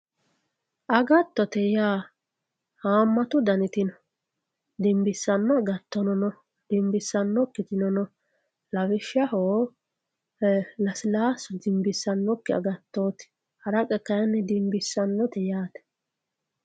Agatote yaa haamatu daniti no dimbisanno agatono no dimbisanokkitino no lawishaho lasilaasu dimbisanokki agattotti, haraqqr kayinni dimbisanote yaate